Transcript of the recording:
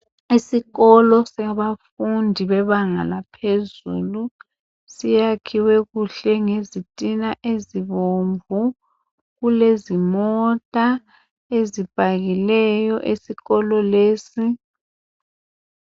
Esikolo sabafundi bebanga laphezulu, siyakhiwe kuhle ngezitina ezibomvu. Kulezimota ezipakiweyo esikolo lesi.